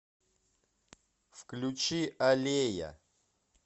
включи аллея